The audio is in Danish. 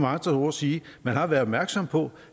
andre ord sige at man har været opmærksom på